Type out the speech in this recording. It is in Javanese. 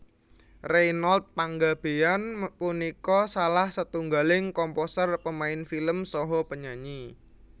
Reynold Panggabean punika salah setunggaling komposer pemain film saha penyanyi